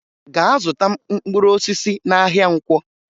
Gaa zụta mkpụrụosisi n'ahịa Nkwọ!